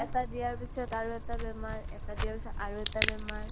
এটাত দিয়া পিছত আৰু এটা বেমাৰ । এটাত দিয়া পিছত আৰু এটা বেমাৰ ।